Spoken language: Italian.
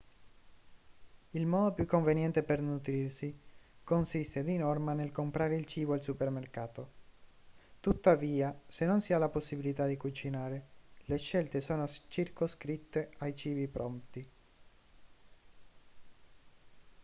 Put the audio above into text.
il modo più conveniente per nutrirsi consiste di norma nel comprare il cibo al supermercato tuttavia se non si ha la possibilità di cucinare le scelte sono circoscritte ai cibi pronti